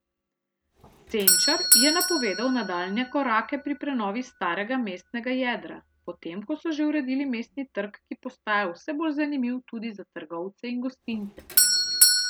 Senčar je napovedal nadaljnje korake pri prenovi starega mestnega jedra, potem ko so že uredili Mestni trg, ki postaja vse bolj zanimiv tudi za trgovce in gostince.